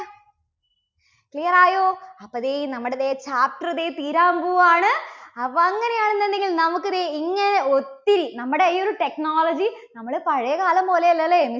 clear ആയോ? അപ്പോ ദേ നമ്മുടെ ദേ chapter ദേ തീരാൻ പോവാണ്. അപ്പോ അങ്ങനെയാണെന്നുണ്ടെങ്കിൽ നമുക്ക് ദേ ഇങ്ങനെ ഒത്തിരി നമ്മുടെ ഈ ഒരു technology, നമ്മള് പഴയ കാലം പോലെയല്ല അല്ലേ?